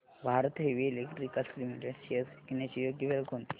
Bharat Heavy Electricals Limited shares विकण्याची योग्य वेळ कोणती